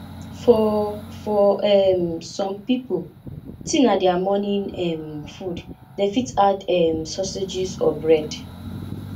for for um some pipo tea na their morning um food dem fit add um sausages or bread